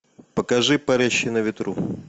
покажи парящий на ветру